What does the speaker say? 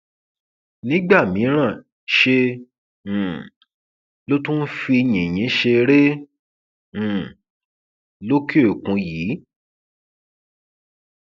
nígbà mìíràn ṣe um ló tún ń fi yìnyín ṣeré um lòkèòkun yìí